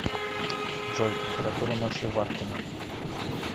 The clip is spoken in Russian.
джой температура ночью в артеме